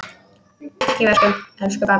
Ekki í vöskum, elsku barn.